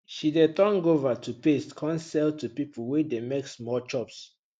she de turn guava to paste come sell to people wey de make small chops